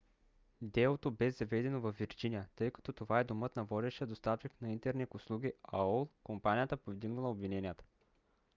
делото бе заведено във вирджиния тъй като това е домът на водещия доставчик на интернет услуги aol – компанията повдигнала обвиненията